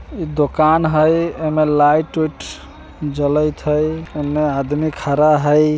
इ दुकान हई एमे लाइट उईट जलइत हई | एने आदमी खड़ा हई ।